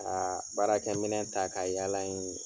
Aa baarakɛminɛn ta k'a yaala in